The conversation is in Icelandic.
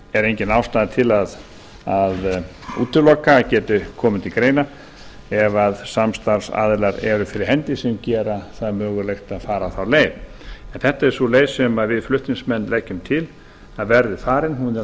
er engin ástæða til að útiloka að geti komið til greina ef samstarfsaðilar eru fyrir hendi sem gera það mögulegt að fara þá leið en þetta er sú leið sem við flutningsmenn leggjum til að verði farin hún er á